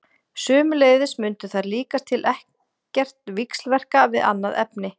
Sömuleiðis mundu þær líkast til ekkert víxlverka við annað efni.